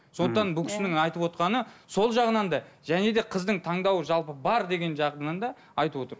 сондықтан бұл кісінің айтывотқаны сол жағынан да және де қыздың таңдауы жалпы бар деген жағынан да айтып отыр